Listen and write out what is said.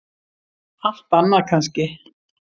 Allt annað kannski.